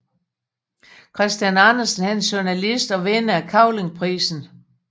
Christian Andersen er journalist og vinder af Cavlingprisen